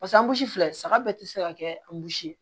Pasa anbusi filɛ saga bɛɛ tɛ se ka kɛ an burusi ye